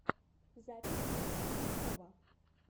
запись ильи кузнецова